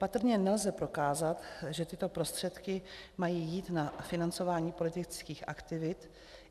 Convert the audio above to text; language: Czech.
Patrně nelze prokázat, že tyto prostředky mají jít na financování politických aktivit.